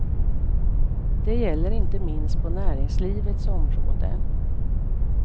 Det gäller inte minst på näringslivets område.